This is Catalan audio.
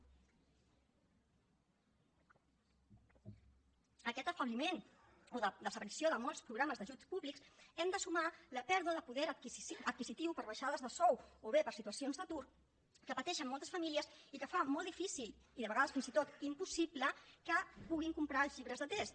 a aquest afebliment o desaparició de molts programes d’ajuts públics hi hem de sumar la pèrdua de poder adquisitiu per baixades de sou o bé per situacions d’atur que pateixen moltes famílies i que fa molt difícil i de vegades fins i tot impossible que puguin comprar els llibres de text